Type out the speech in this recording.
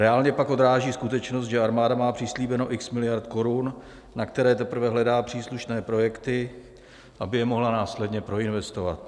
Reálně pak odráží skutečnost, že armáda má přislíbeno x miliard korun, na které teprve hledá příslušné projekty, aby je mohla následně proinvestovat.